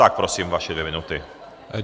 Tak prosím, vaše dvě minuty.